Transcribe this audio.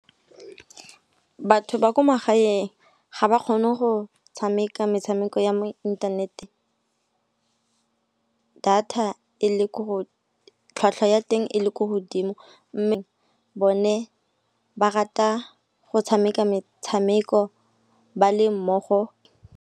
Batho ba ko magaeng ga ba kgone go tshameka metshameko ya mo inthanete tlhwatlhwa ya teng e le ko godimo. Mme bone ba rata go tshameka metshameko ba le mmogo.